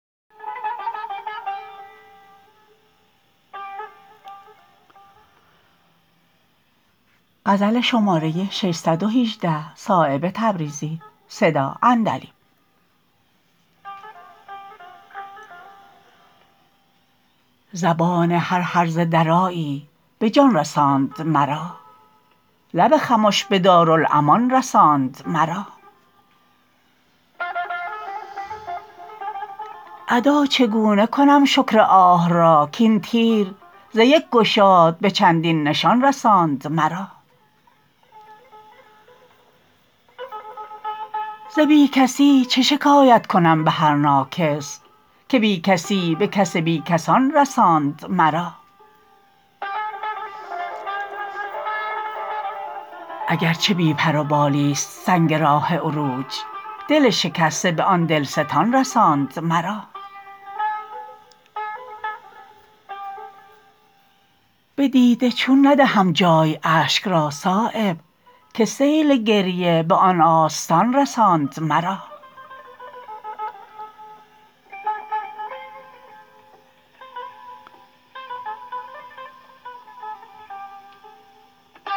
زبان هر هرزه درایی به جان رساند مرا لب خموش به دارالامان رساند مرا ادا چگونه کنم شکر آه را کاین تیر ز یک گشاد به چندین نشان رساند مرا ز بی کسی چه شکایت کنم به هر ناکس که بی کسی به کس بی کسان رساند مرا اگر چه بی بروپالی است سنگ راه عروج دل شکسته به آن دلستان رساند مرا به دیده چون ندهم جای اشک را صایب که سیل گریه به آن آستان رساند مرا